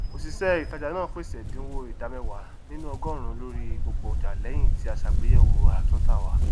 òṣìṣẹ ìtajà náà pèsè ẹdínwó ìdá mẹwàá nínú ọgọrùnún lórí gbogbo ọjà lẹyìn tí a sàgbéyẹwò àràtúntà wa